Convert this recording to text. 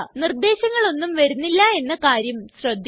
നിര്ദ്ദേശങ്ങളൊന്നും വരുന്നില്ല എന്ന കാര്യം ശ്രദ്ധിക്കുക